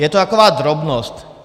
Je to taková drobnost.